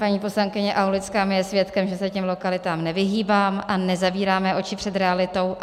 Paní poslankyně Aulická mi je svědkem, že se těm lokalitám nevyhýbám a nezavíráme oči před realitou.